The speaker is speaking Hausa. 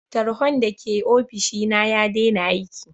Tarhon da ke ofishi na ya dena aiki.